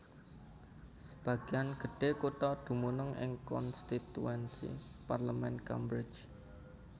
Sebagéan gedhé kutha dumunung ing konstituensi parlemen Cambridge